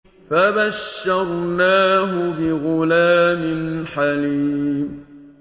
فَبَشَّرْنَاهُ بِغُلَامٍ حَلِيمٍ